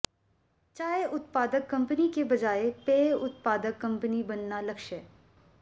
चाय उत्पादक कंपनी के बजाय पेय उत्पादक कंपनी बनना लक्ष्य